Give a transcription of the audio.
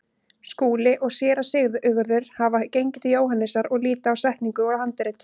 Skúli og Séra Sigurður hafa gengið til Jóhannesar og líta á setningu og handrit.